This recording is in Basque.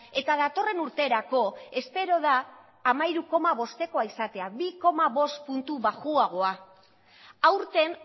eta datorren urterako espero da hamairu koma bostekoa izatea bi koma bost puntu baxuagoa aurten